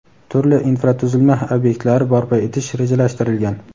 turli infratuzilma ob’ektlari barpo etish rejalashtirilgan.